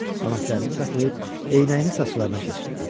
Anası əlini saxlayıb eynəyini saçlarına keçirtdi.